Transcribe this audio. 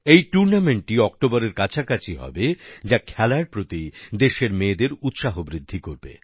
এই টুর্নামেন্টটি অক্টোবরের কাছাকাছি হবে যা খেলার প্রতি দেশের মেয়েদের উৎসাহ বৃদ্ধি করবে